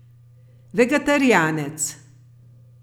Vegetarijanec.